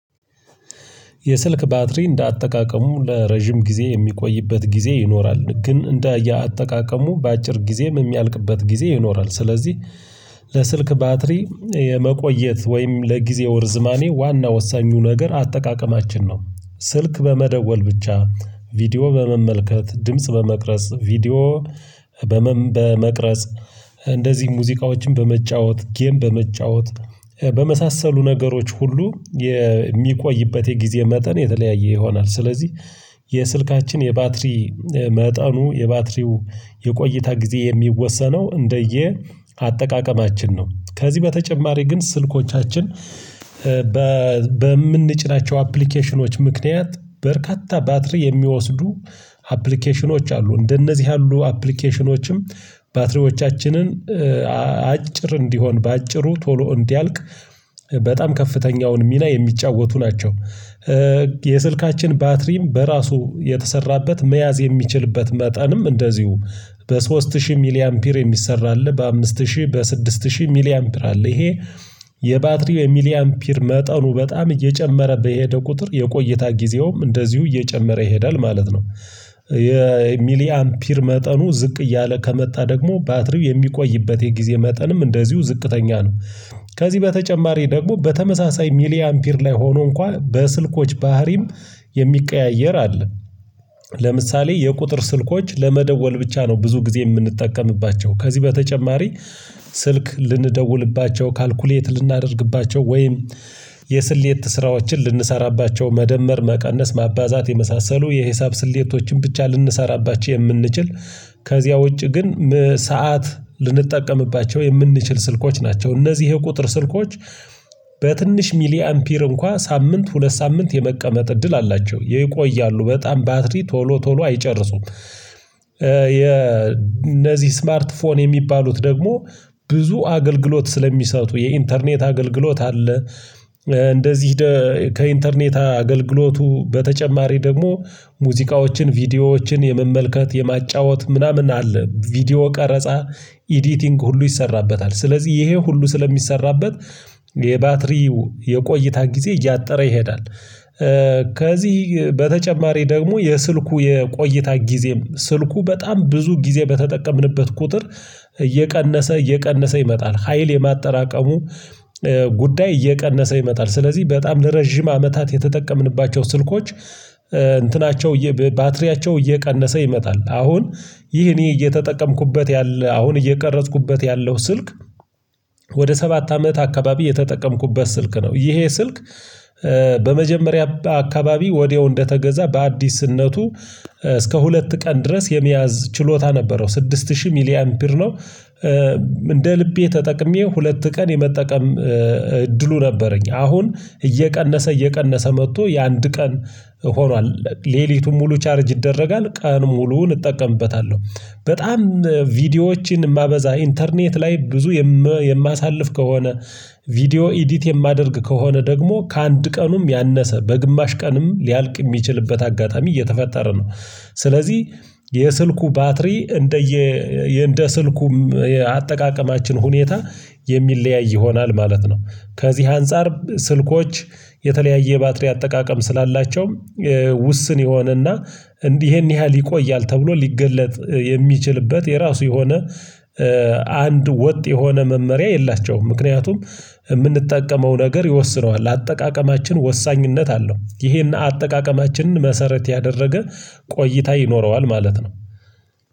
የስልክ ባትሪ እንደ አጠቃቀሙ ለረጅም ጊዜ የሚቆይበት ጊዜ ይኖራል ግን እንደየ አጠቃቀሙ በአጭር ጊዜ የሚያልቅበት ጊዜ ይኖራል ስለዚህ ለስልክ ባትሪ የመቆየት ወይም ለጊዜው ርዝማኔ ዋና ወሳኙ ነገር አጠቃቀማችን ነው። ስልክ በመደወል ብቻ፣ ቪዲዮ በመመልከት፣ ድምጽ በመቅረጽ፣ ቪዲዮ በመቅረጽ እንደዚህ ሙዚቃዎችን በመጫወት፣ ጌም በመጫወት በመሳሰሉ ነገሮች ሁሉ የሚቆይበት የጊዜ መጠን የተለያየ ይሆናል ስለዚህ የስልካችን የባትሪ መጠኑ የባትሪው የቆይታ ጊዜ የሚወሰነው እንደየ አጠቃቀማችን ነው። ከዚህ በተጨማሪ ግን ስልኮቻችን በምንጭናቸው አፕሊኬሽኖች ምክንያት በርካታ ባትሪ የሚወስዱ አፕሊኬሽኖች አሉ እንደነዚህ ያሉ አፕሊኬሽኖችም ባትሪዎቻችንን አጭር እንዲሆን በአጭሩ ቶሎ እንዲያልቅ በጣም ከፍተኛውን ሚና የሚጫወቱ ናቸው። የስልካችን ባትሪም በራሱ የተሰራበት መያዝ የሚችልበት መጠንም እንደዚሁ በሶስት ሺህ ሚሊ አምፒር የሚሰራ አለ በአምስት ሺህ በስድስት ሺህ ሚሊ አምፒር አለ ይሄ የባትሪው የሚሊ አምፒር መጠኑ በጣም እየጨመረ በሄደ ቁጥር የቆየታ ጊዜውም እንደዚሁ እየጨመረ ይሄዳል ማለት ነው። የሚሊ አምፒር መጠኑ ዝቅ እያለ ከመጣ ደግሞ ባትሪው የሚቆይበት የጊዜ መጠንም እንደዚሁ ዝቅተኛ ነው ከዚህ በተጨማሪ ደግሞ በተመሳሳይ ሚሊየን አምፒር ላይ ሆኖ እንኳን በስልኮች ባህሪም የሚቀያየር አለ። ለምሳሌ የቁጥር ስልኮች ለመደወል ብቻ ነው ብዙ ጊዜ የምንጠቀምባቸው ከዚህ በተጨማሪ ስልክ ልንደውልባቸው ካልኩሌት ልናደርግባቸው ወይም የስሌት ስራዎችን ልንሰራባቸው መደመር መቀነስ ማባዛት የመሳሰሉ የሂሳብ ስሌቶችን ብቻ ልንሰራባቸው የምንችል ከዚያ ውጪ ግን ሰዓት ልንጠቀምባቸው የምንችል ስልኮች ናቸው እነዚህ የቁጥር ስልኮች በትንሽ ሚሊ አምፒር እንኳን ሳምንት ሁለት ሳምንት የመቀመጥ እድል አላቸው ይቆያሉ በጣም ባትሪ ቶሎ ቶሎ አይጨርሱም የነዚህ ስማርት ፎን የሚባሉት ደግሞ ብዙ አገልግሎት ስለሚሰጡ የኢንተርኔት አገልግሎት አለ፣ እንደዚህ ከኢንተርኔት አገልግሎቱ በተጨማሪ ደግሞ ሙዚቃዎችን ቪዲዮዎችን የመመልከት የማጫወት ምናምን አለ ቪዲዮ ቀረጻ ኤዲቲንግ ሁሉ ይሰራበታል ስለዚህ ይሄ ሁሉ ስለሚሰራበት የባትሪው የቆይታ ጊዜ እያጠረ ይሄዳል። ከዚህ በተጨማሪ ደግሞ የስልኩ የቆይታ ጊዜም ስልኩ በጣም ብዙ ጊዜ በተጠቀምንበት ቁጥር እየቀነሰ እየቀነሰ ይመጣል ሀይል የማጠራቀሙ ጉዳይ እየቀነሰ ይመጣል ስለዚህ በጣም ለረጅም አመታት የተጠቀምንባቸው ስልኮች እንትናቸው ባትሪያቸው እየቀነሰ ይመጣል አሁን ይህ እኔ እየተጠቀምኩበት ያለ አሁን እየቀረጽኩበት ያለው ስልክ ወደ ሰባት አመት አካባቢ የተጠቀምኩበት ስልክ ነው። ይሄ ስልክ በመጀመሪያ አካባቢ ወዲያው እንደተገዛ በአዲስነቱ እስከ ሁለት ቀን ድረስ የመያዝ ችሎታ ነበረው ስድስት ሺህ ሚሊየን ብር ነው እንደ ልቤ ተጠቅሜ ሁለት ቀን የመጠቀም እድሉ ነበረኝ አሁን እየቀነሰ እየቀነሰ መጥቶ የአንድ ቀን ሆኗል ሌሊቱን ሙሉ ቻርጅ ይደረጋል ቀን ሙሉውን እጠቀምበታለሁ። በጣም ቪዲዮዎችን የማበዛ ኢንተርኔት ላይ ብዙ የማሳልፍ ከሆነ ቪዲዮ ኤዲት የማደርግ ከሆነ ደግሞ ከአንድ ቀኑም ያነሰ በግማሽ ቀንም ሊያልቅ የሚችልበት አጋጣሚ እየተፈጠረ ነው፣ ስለዚህ የስልኩ ባትሪ እንደየ እንደ ስልኩም አጠቃቀማችን ሁኔታ የሚለያይ ይሆናል ማለት ነው ከዚህ አንፃር ስልኮች የተለያየ ባትሪ አጠቃቀም ስላላቸውም ውስን የሆነና እንዲህ ያህል ይቆያል ተብሎ ሊገለጥ የሚችልበት የራሱ የሆነ አንድ ወጥ የሆነ መመሪያ የላቸውም ምክንያቱም የምንጠቀመው ነገር ይወስነዋል አጠቃቀማችን ወሳኝነት አለው ይሄን አጠቃቀማችንን መሰረት ያደረገ ቆይታ ይኖረዋል ማለት ነው።